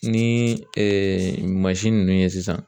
Ni mansin ninnu ye sisan